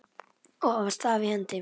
og hafa staf í hendi.